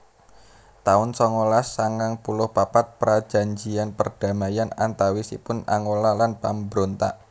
taun songolas sangang puluh papat Prajanjian perdamaian antawisipun Angola lan pambrontak